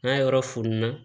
N'a yɔrɔ fununa